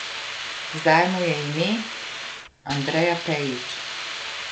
Zdaj mu je ime Andreja Pejić.